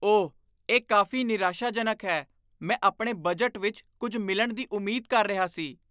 ਓਹ, ਇਹ ਕਾਫ਼ੀ ਨਿਰਾਸ਼ਾਜਨਕ ਹੈ। ਮੈਂ ਆਪਣੇ ਬਜਟ ਵਿੱਚ ਕੁੱਝ ਮਿਲਣ ਦੀ ਉਮੀਦ ਕਰ ਰਿਹਾ ਸੀ।